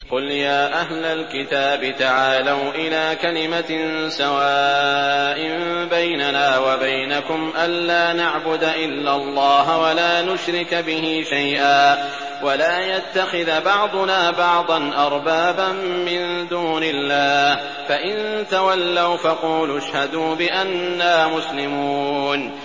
قُلْ يَا أَهْلَ الْكِتَابِ تَعَالَوْا إِلَىٰ كَلِمَةٍ سَوَاءٍ بَيْنَنَا وَبَيْنَكُمْ أَلَّا نَعْبُدَ إِلَّا اللَّهَ وَلَا نُشْرِكَ بِهِ شَيْئًا وَلَا يَتَّخِذَ بَعْضُنَا بَعْضًا أَرْبَابًا مِّن دُونِ اللَّهِ ۚ فَإِن تَوَلَّوْا فَقُولُوا اشْهَدُوا بِأَنَّا مُسْلِمُونَ